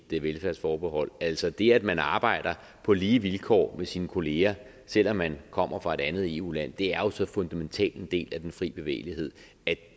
et velfærdsforbehold altså det at man arbejder på lige vilkår med sin kollegaer selv om man kommer fra et andet eu land er jo så fundamentalt en del af den fri bevægelighed at